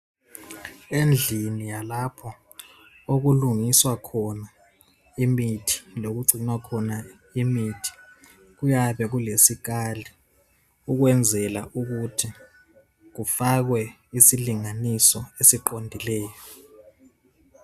Endlini yalapho okulungiswa khona imithi lokugcinwa khona imithi kuyabe kulesikali ukwenzela ukuthi kufakwe isilinganiso eqondileyo.